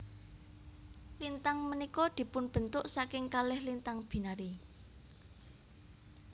Lintang punika dipunbentuk saking kalih lintang binary